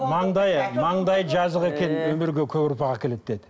маңдайы маңдайы жазық екен өмірге көп ұрпақ әкеледі деді